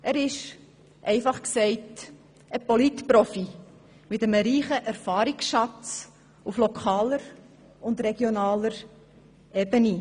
Er ist, einfach gesagt, ein Polit-Profi, mit einem reichen Erfahrungsschatz auf lokaler und regionaler Ebene.